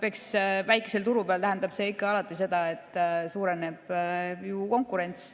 Eks väikse turu peal tähendab see ikka ja alati seda, et konkurents suureneb.